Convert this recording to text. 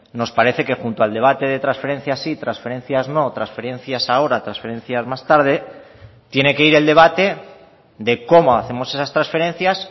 nos parece que junto al debate de transferencias sí transferencias no transferencias ahora transferencias más tarde tiene que ir el debate de cómo hacemos esas transferencias